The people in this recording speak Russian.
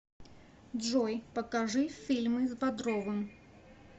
джой покажи фильмы с бодровым